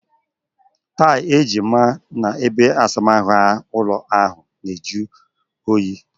Tailị e ji maa n'ebeasamaahụ ụlọ ahụ na-ajụ oyi